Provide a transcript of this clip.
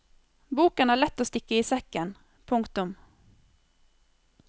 Boken er lett å stikke i sekken. punktum